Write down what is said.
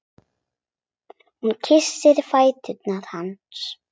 Hún kyssir fætur hans.